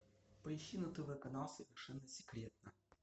поищи на тв канал совершенно секретно